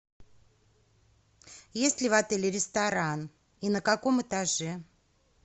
есть ли в отеле ресторан и на каком этаже